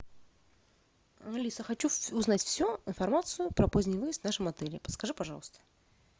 алиса хочу узнать всю информацию про поздний выезд в нашем отеле подскажи пожалуйста